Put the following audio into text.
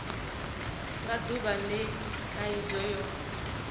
nga duvha le khaidzo yo